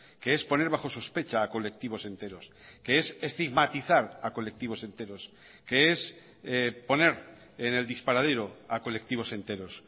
que es poner bajo sospecha a colectivos enteros que es estigmatizar a colectivos enteros que es poner en el disparadero a colectivos enteros